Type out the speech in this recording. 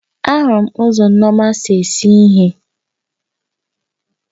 Ahụrụ m ụzọ nneoma si ese ihe